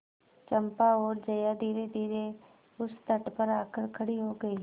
चंपा और जया धीरेधीरे उस तट पर आकर खड़ी हो गई